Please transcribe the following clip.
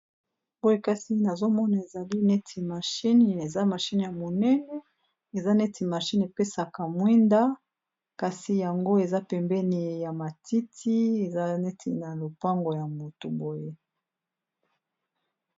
Boye kasi nazomona ezali neti mashine, eza mashine ya monene eza neti mashine epesaka mwinda kasi yango eza pembeni ya matiti eza neti na lopango ya motu boye.